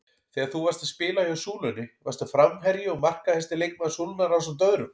Þegar þú varst að spila hjá Súlunni varstu framherji og markahæsti leikmaður Súlunnar ásamt öðrum?